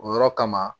O yɔrɔ kama